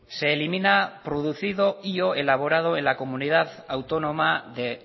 se emilina producido y o elaborado en la comunidad autónoma de